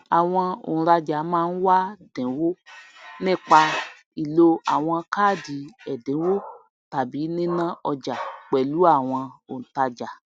àwon ònrajà máá n wá dìnwó nípa lílo àwon káádì èdìnwó tàbí níná ojà pèlù àwon òntajà